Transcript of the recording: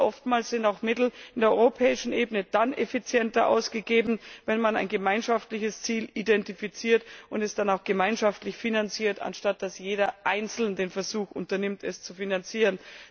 Denn oftmals sind Mittel auf der europäischen Ebene effizienter ausgegeben, wenn man ein gemeinschaftliches Ziel identifiziert und es dann auch gemeinschaftlich finanziert, anstatt dass jeder einzeln den Versuch unternimmt, es zu finanzieren.